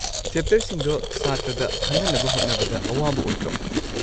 ꯆꯦꯞꯇꯔꯁꯤꯡꯗꯣ ꯁꯥꯇ꯭ꯔꯗ ꯈꯪꯍꯟꯅꯕ ꯍꯣꯠꯅꯕꯗ ꯑꯋꯥꯕ ꯑꯣꯏꯗ꯭ꯔꯣ?